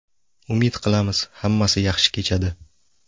Umid qilamiz hammasi yaxshi kechadi.